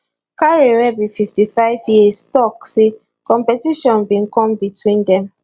carey wey be fifty five years tok say competition bin come between dem